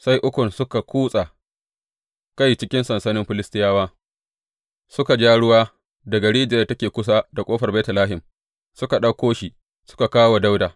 Sai Ukun suka kutsa kai cikin sansanin Filistiyawa, suka ja ruwa daga rijiyar da take kusa da ƙofar Betlehem suka ɗauko shi suka kawo wa Dawuda.